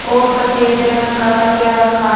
और सफेद रंग का तकिया रखा है।